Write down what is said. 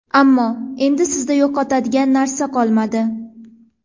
Ammo, endi sizda yo‘qotadigan narsa qolmadi.